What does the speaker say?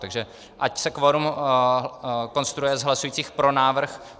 Takže ať se kvorum konstruuje z hlasujících pro návrh.